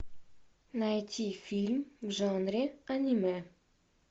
найти фильм в жанре аниме